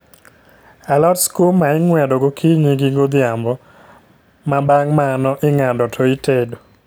Alot skuma ing'wedo gokinyi gi godhiambo, ma bang' mano ing'ado to itedo